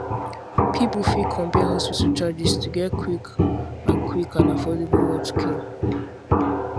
people fit compare hospital charges to get quick and quick and affordable healthcare